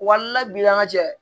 Walibi an ka jɛ